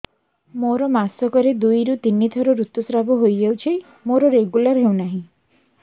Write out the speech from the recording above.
ମୋର ମାସ କ ରେ ଦୁଇ ରୁ ତିନି ଥର ଋତୁଶ୍ରାବ ହେଇଯାଉଛି ମୋର ରେଗୁଲାର ହେଉନାହିଁ